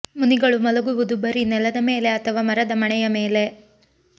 ಮುನಿಗಳು ಮಲಗುವುದು ಬರೀ ನೆಲದ ಮೇಲೆ ಅಥವಾ ಮರದ ಮಣೆಯ ಮೇಲೆ